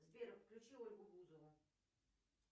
сбер включи ольгу бузову